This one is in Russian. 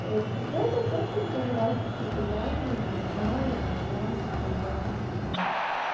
вот после этого просто уже пару раз что-то гуляли но на ля ля ля тополя вот